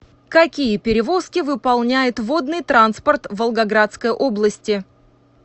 какие перевозки выполняет водный транспорт в волгоградской области